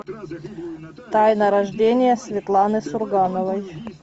тайна рождения светланы сургановой